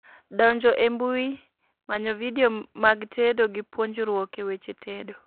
Donjo e mbui, manyo vidio mag tedo gi puonjruok e weche tedo